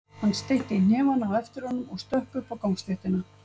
Hann steytti hnefana á eftir honum og stökk upp á gangstéttina.